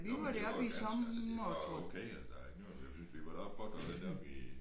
Nåmen det var ganske altså det var okay eller det var jeg synes vi var deroppe og prøve den deroppe i